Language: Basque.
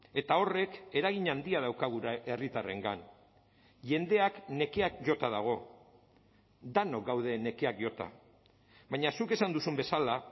eta horrek eragin handia dauka gure herritarrengan jendeak nekeak jota dago denok gaude nekeak jota baina zuk esan duzun bezala